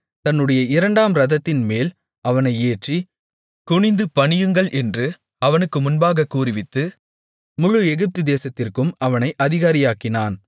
தன்னுடைய இரண்டாம் இரதத்தின்மேல் அவனை ஏற்றி குனிந்து பணியுங்கள் என்று அவனுக்கு முன்பாகக் கூறுவித்து முழு எகிப்துதேசத்திற்கும் அவனை அதிகாரியாக்கினான்